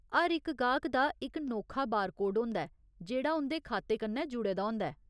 हर इक गाह्क दा इक नोखा बारकोड होंदा ऐ जेह्ड़ा उं'दे खाते कन्नै जुड़े दा होंदा ऐ।